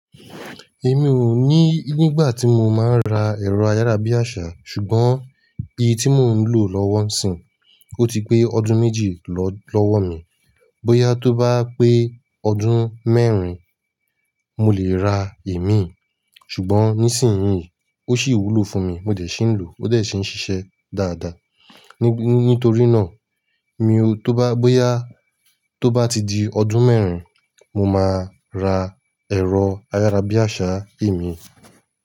Èmi o ní nígbà tí mo máa ń ra ẹ̀rọ ayárabíàṣá, ṣùgbọ́n èyí tí mo ń lò lọ́wọ́ ńsìn, ó ti pé ọdún méjì lọ́wọ́ mi. Bóyá tó bá pé ọdún mẹ́rin, mo lè ra emí. Ṣùgbọ́n nísìnyí, ó sì wúlò fún mi. Mo dẹ̀ ṣì ń lò, ó dẹ̀ ṣì ń ṣiṣẹ́ dáadáa. Ní, nítorí náà mi o tó bá, bóyá tó bá ti di ọdún mẹ́rin, mo máa ra ẹ̀rọ ayárabíàṣá emí.